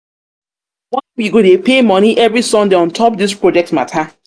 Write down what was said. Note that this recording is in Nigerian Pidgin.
why we go dey pay moni every sunday on top dis project mata?